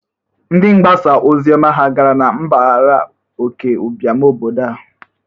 Ndị mgbasa ozioma ha gara na mbagara oke ụbịam obodo a?